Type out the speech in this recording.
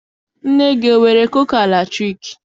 Nne gị, enwere kuka latriki?